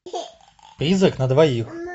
призрак на двоих